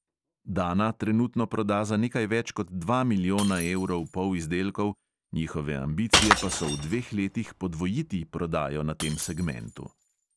Dana trenutno proda za nekaj več kot dva milijona evrov polizdelkov, njihove ambicije pa so v dveh letih podvojiti prodajo na tem segmentu.